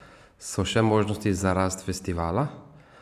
So še možnosti za rast festivala?